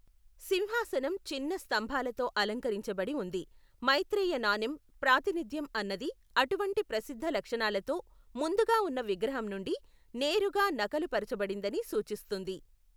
సింహాసనం చిన్న స్తంభాలతో అలంకరించబడి ఉంది, మైత్రేయ నాణెం ప్రాతినిధ్యం అన్నది అటువంటి ప్రసిద్ధ లక్షణాలతో ముందుగా ఉన్న విగ్రహం నుండి నేరుగా నకలు పరచబడిందని సూచిస్తుంది.